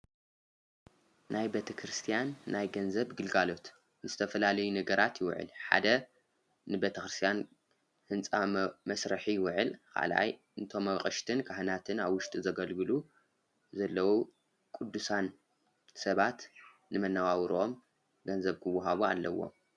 ናይ ቤ ክርስቲያን ናይ ገንዘብ ግልጋሎት ንዝተፈላለይ ነገራት ይውዕል፡፡ ሓደ ንቤተ ኽርስያን ህንፃ መስረሒ ይውዕል፣ ካልኣይ ንቶም ኣቕሽትን ካህናትን ኣብ ውሽጢ ዘገልግሉ ዘለዉ ቅዱሳን ሰባት ንመነባብሮኦም ገንዘብ ክወሃቡ ኣለዎም፡፡